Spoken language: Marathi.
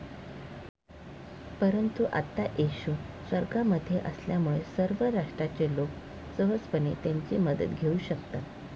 परंतु आता येशू स्वर्गामध्ये असल्यामुळे सर्व राष्ट्राचे लोक सहजपणे त्याची मदत घेऊ शकतात.